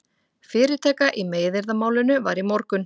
Fyrirtaka í meiðyrðamálinu var í morgun